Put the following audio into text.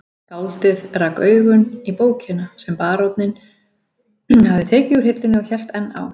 Skáldið rak augun í bókina sem baróninn hafði tekið úr hillunni og hélt enn á